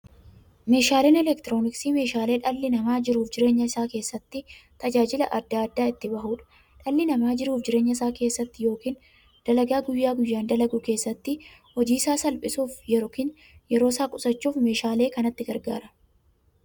Meeshaaleen elektirooniksii meeshaalee dhalli namaa jiruuf jireenya isaa keessatti, tajaajila adda addaa itti bahuudha. Dhalli namaa jiruuf jireenya isaa keessatti yookiin dalagaa guyyaa guyyaan dalagu keessatti, hojii isaa salphissuuf yookiin yeroo isaa qusachuuf meeshaalee kanatti gargaarama.